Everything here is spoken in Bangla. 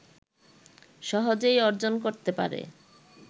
সহজেই অর্জন করতে পারে